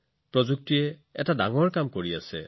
প্ৰযুক্তিয়ে আন এটা মহান কাম কৰিছে